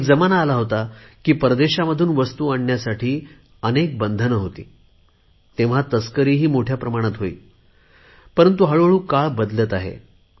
एक जमाना असा होता परदेशामधून वस्तू आणण्यासाठी खूप बंधने होती तस्करी पण खूप प्रमाणात वाढत होती परंतु हळुहळु काळ बदलत गेला आहे